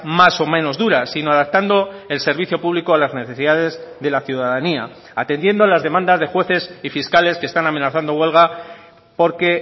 más o menos duras sino adaptando el servicio público a las necesidades de la ciudadanía atendiendo a las demandas de jueces y fiscales que están amenazando huelga porque